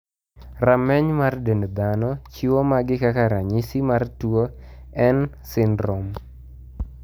Rameny mar dend dhano chiwo magi kaka ranyisi mar tuo N syndrome.